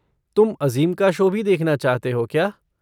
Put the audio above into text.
तुम अज़ीम का शो भी देखना चाहते हो क्या?